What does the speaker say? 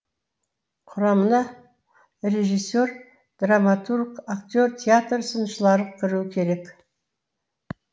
құрамына режиссер драматург актер театр сыншылары кіруі керек